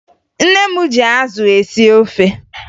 Nne m ji azụ esi ofe